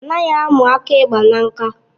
Anaghị amu aka ekpe na ṅka